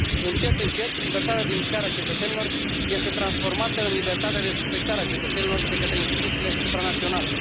Încet încet, libertatea de mișcare a cetățenilor este transformată în libertatea de suspectare a cetățenilor de către instituțiile supranaționale.